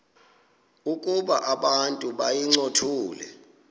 ukuba abantu bayincothule